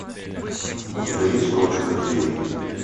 у тебя есть ночь в музее